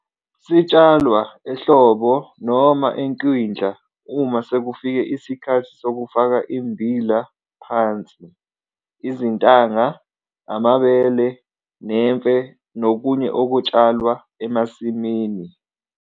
Sitshalwa ehlobo noma enkwindla uma sekufike isikhathi sokufaka immbila phansi, izintanga, amabele nemfe nokunye okutshalwa emasimini.